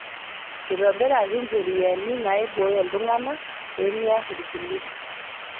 Eitobiraki ncheriani naiboyoo iltung'ana pemear ilkulie